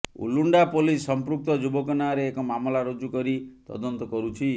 Ulunda police ସଂପୃକ୍ତ ଯୁବକ ନାଁରେ ଏକ ମାମଲା ରୁଜୁ କରି ତଦନ୍ତ କରୁଛି